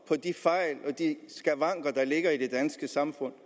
på de fejl og skavanker der ligger i det danske samfund